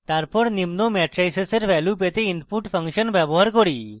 তারপর আমরা নিম্ন ম্যাট্রাইসেসের ভ্যালু পেতে input ফাংশন ব্যবহার করি: